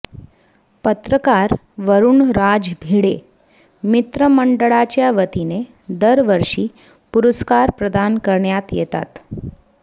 पत्रकार वरुणराज भिडे मित्रमंडळाच्यावतीने दरवर्षी पुरस्कार प्रदान करण्यात येतात